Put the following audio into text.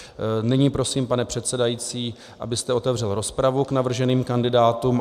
Nyní prosím, pane předsedající, abyste otevřel rozpravu k navrženým kandidátům.